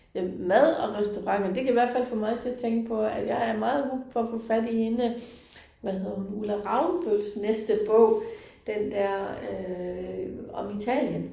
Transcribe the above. Jamen mad og restauranter det kan hvert fald få mig til at tænke på, at jeg er meget hooked på at få fat på hende, hvad hedder hun Ulla Ravnbøls næste bog, den dér øh om Italien